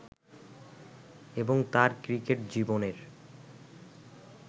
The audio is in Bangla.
এবং তাঁর ক্রিকেট জীবনের